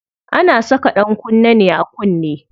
Ana saka ɗankunne ne a kunne.